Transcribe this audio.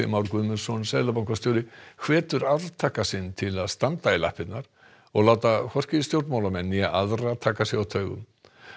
Már Guðmundsson seðlabankastjóri hvetur arftaka sinn til að standa í lappirnar og láta hvorki stjórnmálamenn né aðra taka sig á taugum